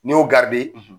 N'i y'o garidi